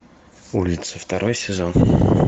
улица второй сезон